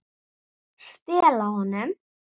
Stela honum?